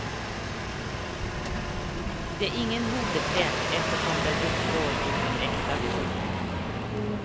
Det är ingen modetrend eftersom den uppstår ur ett äkta behov.